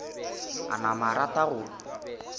a napa a rata go